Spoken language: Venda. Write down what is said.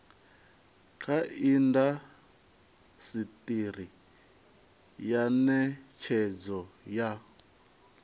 kha indasiteri ya netshedzo ya